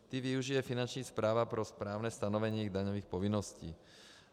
Ty využije Finanční správa pro správné stanovení jejich daňových povinností.